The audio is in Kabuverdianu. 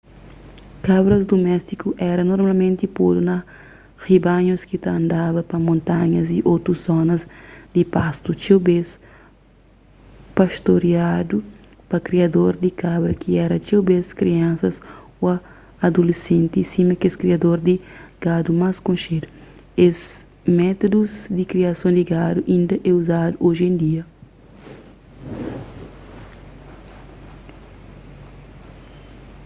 kabras duméstiku éra normalmenti podu na ribanhus ki ta andaba pa montanhas y otus zonas di pastu txeu bês pastoriadu pa kriador di kabra ki éra txeu bês kriansas ô adulesenti sima kes kriador di gadu más konxedu es métudus di kriason di gadu inda é uzadu oji en dia